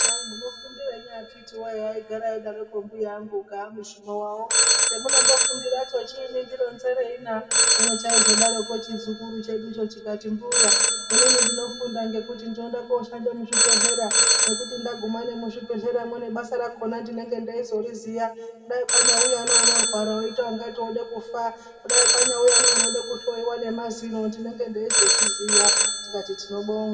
Kwai munofundirei, akiti woye !aigara eidarako mbuya angu ukaa mushumo wawo ,chemunondofundara cho chiinyi ndironzerana, hino chaizodaroko chizukuru cheducho chikati, "mbuya inini ndinofunda ngekuti ndinode koshande muzvibhehlera ngokuti ndaguma muzvibhehlera nebasa rakona ndinenge ndeizoriziya dai kwanyauya neunorwara woita kunge wode kufa kudai kwanyauya neunode kuhloyiwa nemazino ndinenge ndeizvozviziya,"tikati tinobonga.